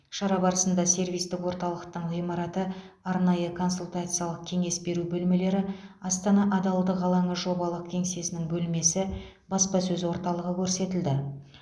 шара барысында сервистік орталықтың ғимараты арнайы консультациялылық кеңес беру бөлмелері астана адалдық алаңы жобалық кеңсесінің бөлмесі баспасөз орталығы көрсетілді